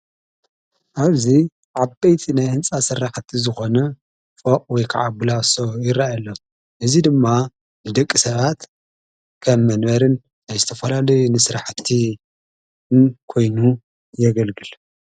ኣብዙ ዓበይቲ ናይ ሕንፃ ሠራሕቲ ዝኾነ ፈዕ ወይ ከዓ ብላሶ ይረአኣሎም እዙይ ድማ ንደቂ ሰባት ኸብ መንበርን ኣይስተፈላሉ ንሥራሕቲን ኮይኑ የገልግል።